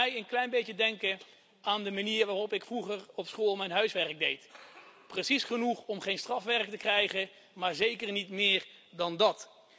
Het doet mij een klein beetje denken aan de manier waarop ik vroeger op school mijn huiswerk deed precies genoeg om geen strafwerk te krijgen, maar zeker niet meer dan dat.